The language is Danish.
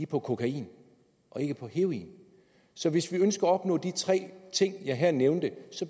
på kokain og ikke på heroin så hvis vi ønsker at opnå de tre ting jeg nævnte